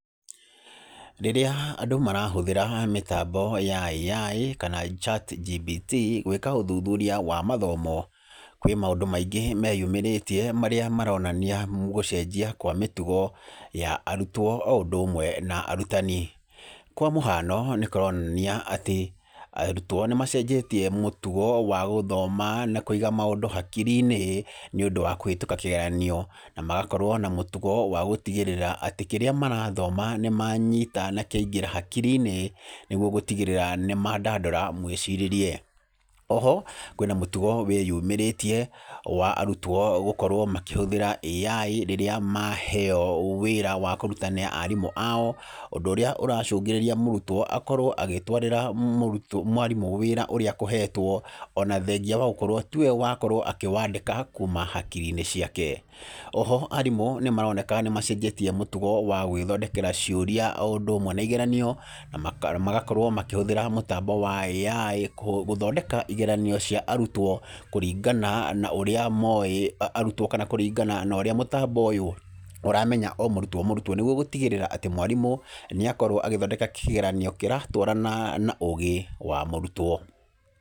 Rĩrĩa andũ marahũthĩra mĩtambo ya AI, kana ChatGPT gwĩka ũthũthũria wa mathomo kwĩ maũndũ maingĩ meyumĩrĩtĩe marĩa maronania gũcenjia kwa mĩtũgo ya arutwo o ũndũ ũmwe na arutani. Kwa mũhano nĩ kũronania atĩ arutwo nĩ macenjetie mũtugo wa gũthoma na kũiga maũndũ hakiri-inĩ nĩ ũndũ wa kũhĩtũka kĩgeranio, na magakorwo na mũtũgo wa gũtĩgĩrĩra atĩ kĩrĩa marathoma nĩ manyita na kĩa ingĩra hakiri-inĩ nĩgũo gũtĩgĩrĩra nĩ mandandũra mwĩcirĩrie. Oho kwĩna mũtũgo wĩ yũmĩrĩtie wa arutwo gũkorwo makĩhũthĩra AI rĩrĩa maheo wĩra wa kũruta nĩ arimũ ao. Ũndũ ũríĩ ũracũngĩrĩria mũrũtwo akorwo agĩtwarĩra mwarimũ wĩra ũrĩa akũhetwo ona thengĩa wa gũkorwo tĩwe wakorwo akĩwandĩka kuuma hakiri-inĩ ciake. Oho arimũ nĩ maroneka nĩ macenjetie mũtũgo wa gwĩthondekera ciũria, o ũndũ ũmwe na igeranio na magakorwo makĩhũthĩra mũtambo wa AI gũthondeka igeranio cia arutwo kũringana na ũrĩa moĩ arutwo, kana kũringana na ũrĩa mũtambo ũramenya o mũrutwo o mũrutwo nĩgũo, gũtĩgĩrĩra atĩ mwarimũ nĩ akorwo agĩthondeka kĩgeranio kĩratwarana na ũgĩ wa mũrutwo.